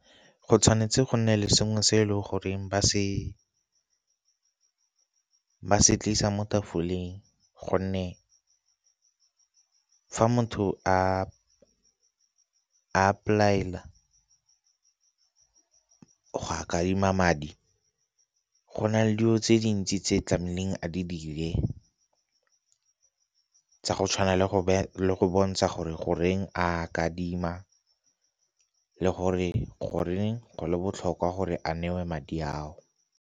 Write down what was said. Go tshwanetse go nne le sengwe se e leng goreng ba se tlisa mo tafoleng, gonne fa motho a a apply-ela go a kadima madi go na le dilo tse dintsi tse tlamehileng a di dire tsa go tshwana le go bontsha gore goreng a kadima le gore, goreng go le botlhokwa gore a newe madi ao.